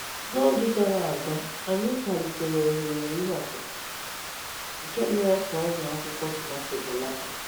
N’oge gara aga anyị kwalitere ohere ihe ọkụkụ, nke mere ka ọrịa akwụkwọ tomato belata.